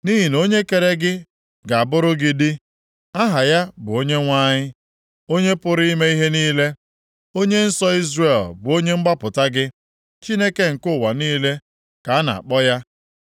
Nʼihi na onye kere gị ga-abụrụ gị di. Aha ya bụ Onyenwe anyị, Onye pụrụ ime ihe niile; Onye nsọ Izrel bụ Onye mgbapụta gị, Chineke nke ụwa niile ka a na-akpọ ya.